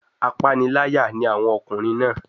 Apániláyà ni àwọn ọkùnrin náà.